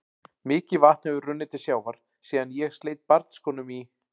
Mikið vatn hefur runnið til sjávar síðan ég sleit barnsskónum í